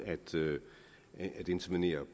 at intervenere